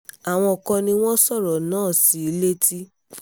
àwọn kan ni wọ́n sọ̀rọ̀ náà sí i létí